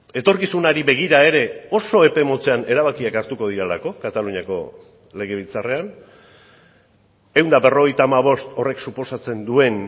etorkizunari begira ere oso epe motzean erabakiak hartuko direlako kataluniako legebiltzarrean ehun eta berrogeita hamabost horrek suposatzen duen